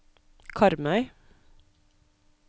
Karmøy